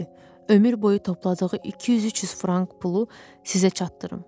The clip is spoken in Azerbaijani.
ömür boyu topladığı 200-300 frank pulu sizə çatdırım.